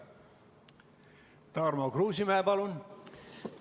Tarmo Kruusimäe, palun!